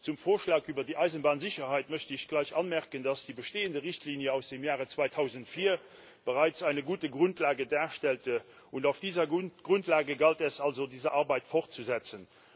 Zum Vorschlag über die Eisenbahnsicherheit möchte ich gleich anmerken, dass die bestehende Richtlinie aus dem Jahr 2004 bereits eine gute Grundlage darstellte, und auf dieser Grundlage galt es also, diese Arbeit fortzusetzen.